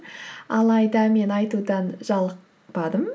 алайда мен айтудан жалықпадым